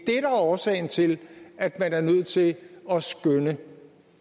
er årsagen til at man er nødt til at skønne